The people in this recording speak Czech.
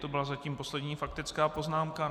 To byla zatím poslední faktická poznámka.